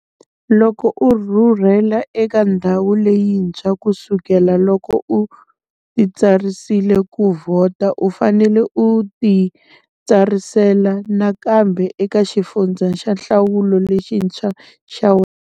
Loko u rhurhele eka ndhawu leyintshwa ku sukela loko u titsarisele ku vhota, u fanele u titsarisela nakambe eka xifundza xa nhlawulo lexintshwa xa wena.